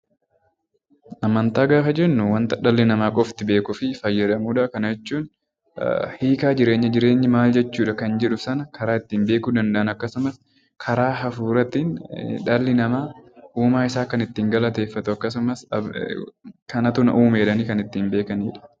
Amantaa gaafa jennuu wanta dhalli namaa beekuu fi fayyadamu dha. Kana jechuun hiikaa jireenyaa jireenyi maal jechuu dha kan jedhu sana karaa ittiin beekuu danda'an akkasuumas karaa hafuuraatiin dhalli namaa uumaa isaa kan ittiin galateeffatu akkasumas kanatu na uume jedhanii kan ittiin beekani dha.